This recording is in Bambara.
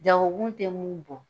Jagokun tɛ mun bɔ